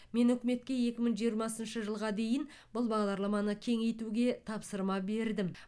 мен үкіметке екі мың жиырмасыншы жылға дейін бұл бағдарламаны кеңейтуге тапсырма бердім